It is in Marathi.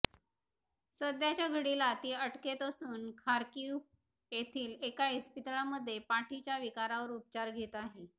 सध्याच्या घडीला ती अटकेत असून खार्कीव्ह येथील एका इस्पितळामध्ये पाठीच्या विकारावर उपचार घेत आहे